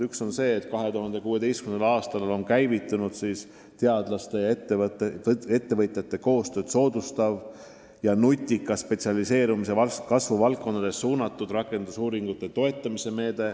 Üks on see, et 2016. aastal on käivitunud teadlaste ja ettevõtjate koostööd soodustav ja nutika spetsialiseerumise kasvu valdkondadele suunatud rakendusuuringute toetamise meede.